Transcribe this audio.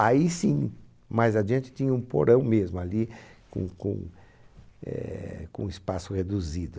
Aí sim, mais adiante, tinha um porão mesmo ali, com com é com espaço reduzido.